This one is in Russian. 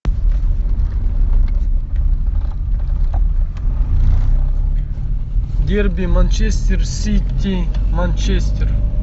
дерби манчестер сити манчестер